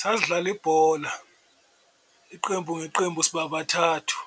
Sasidlala ibhola iqembu ngeqembu siba bathathu